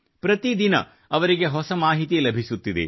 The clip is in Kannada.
ಪ್ರತಿ ದಿನ ಅವರಿಗೆ ಹೊಸ ಮಾಹಿತಿ ಲಭಿಸುತ್ತಿದೆ